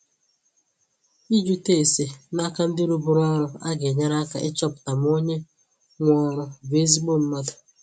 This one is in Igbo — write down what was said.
Ịjụta ese n'aka ndi rụburu ọrụ aga enyere aka ịchọpụta ma onye nwe ọrụ bụ ezigbo mmadụ